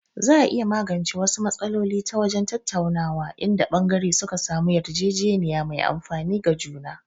Za a iya magance wasu matsaloli ta wajen tattaunawa, inda ɓangare suka samu yarjejeniya mai amfani ga juna.